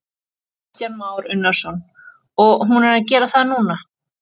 Kristján Már Unnarsson: Og hún er að gera það núna?